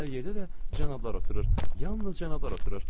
Hər yerdə də cənablar oturur, yalnız cənablar oturur.